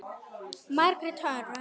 Margrét Hrönn.